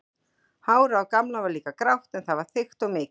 Hárið á Gamla var líka grátt en það var þykkt og mikið.